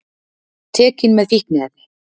Tekinn með fíkniefni